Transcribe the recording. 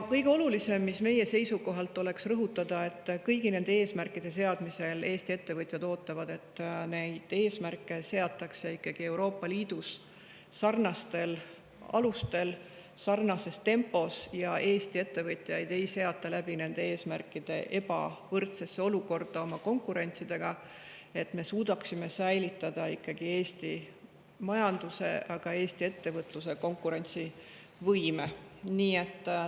Meie seisukohalt kõige olulisem on rõhutada, et kõigi nende eesmärkide seadmisel ootavad Eesti ettevõtjad, et neid eesmärke seataks Euroopa Liidus sarnastel alustel ja sarnases tempos ning Eesti ettevõtjaid ei seataks nende eesmärkide tõttu meie konkurentidega võrreldes ebavõrdsesse olukorda, vaid me suudaksime ikkagi säilitada Eesti majanduse ja Eesti ettevõtluse konkurentsivõime.